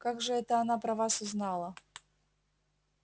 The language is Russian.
как же это она про вас узнала